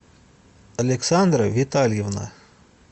александра витальевна